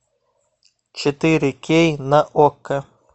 четыре кей на окко